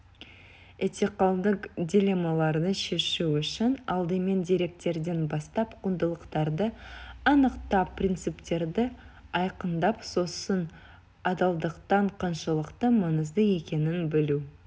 этикалық дилеммаларды шешу үшін алдымен деректерден бастап құндылықтарды анықтап принциптерді айқындап сосын адалдықтың қаншалықты маңызды екенін білу